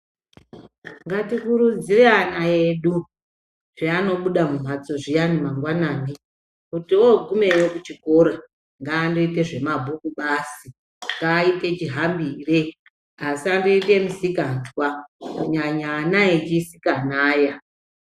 Ngatikurudzire ana edu kuti anobuda mumhatso zviyani mangwanani kuti vogumeyo kuchikora ngaandoende zvemabhuku basi ngaaite chihambire asandoite misikanzwa kunyanya ana echisikana aya